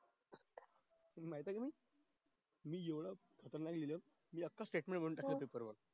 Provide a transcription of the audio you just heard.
तुला माहित ये का मी येवढ खतरनाक लिहिलंय कि आखा लिहून ठेवला paper